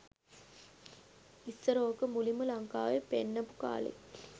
ඉස්සර ඕක මුලින්ම ලංකාවෙ පෙන්නපු කාලේ